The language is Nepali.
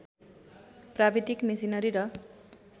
प्राविधिक मेसिनरी र